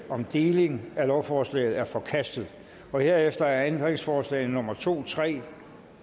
om deling af lovforslaget er forkastet herefter er ændringsforslag nummer to tre og